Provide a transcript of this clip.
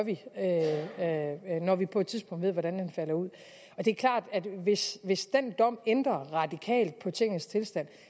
når vi på et tidspunkt ved hvordan den falder ud det er klart at hvis hvis den dom ændrer radikalt på tingenes tilstand